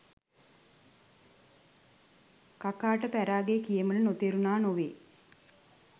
කකාට පැරාගෙ කියමන නොතේරුණා නොවේ